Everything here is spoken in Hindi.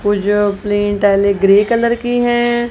वो जो अपनी इटालिक ग्रे कलर की है।